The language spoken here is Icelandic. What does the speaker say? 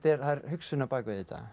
hugsun á bak við þetta